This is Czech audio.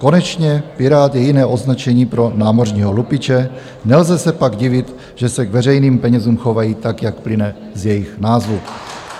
Konečně pirát je jiné označení pro námořního lupiče, nelze se pak divit, že se k veřejným penězům chovají tak, jak plyne z jejich názvu."